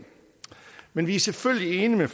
men vi er selvfølgelig enige med